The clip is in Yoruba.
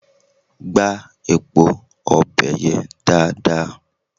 Gbá epo ọbẹ̀ yẹn dáadáa!